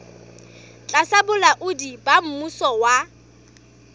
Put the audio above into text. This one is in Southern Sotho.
tlasa bolaodi ba mmuso wa